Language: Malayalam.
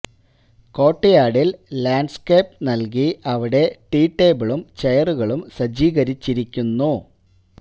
കോര്ട്ട് യാര്ഡില് ലാന്ഡ്സ്കേപ് നല്കി അവിടെ ടീ ടേബിളും ചെയറുകളും സജീകരിച്ചിരിക്കുന്നു